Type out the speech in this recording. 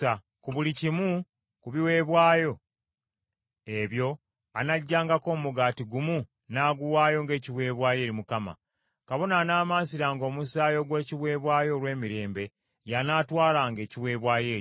Ku buli kimu ku biweebwayo ebyo anaggyangako omugaati gumu n’aguwaayo ng’ekiweebwayo eri Mukama ; kabona anaamansiranga omusaayi ogw’ekiweebwayo olw’emirembe y’anaatwalanga ekiweebwayo ekyo.